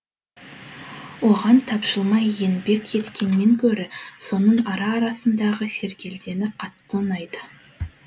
оған тапжылмай еңбек еткеннен гөрі соның ара арасындағы сергелдеңі қатты ұнайды